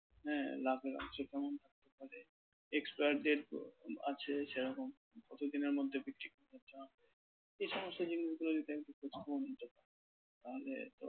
হ্যাঁ লাভের অংশ কেমন থাকতে পারে? expire date আছে সেরকম কতদিনের মধ্যে বিক্রি করতে হবে? এ সমস্ত জিনিসগুলো যদি তাহলে